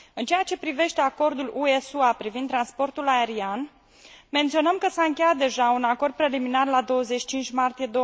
În ceea ce privește acordul UE SUA privind transportul aerian, menționăm că s a încheiat deja un acord preliminar la 25 martie